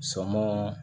Sɔnmɔ